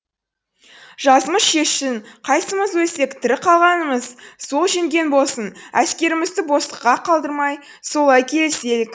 жазмыш шешсін қайсымыз өлсек тірі қалғанымыз сол жеңген болсын әскерімізді босқа қалдырмай солай келіселік